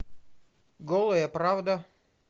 голая правда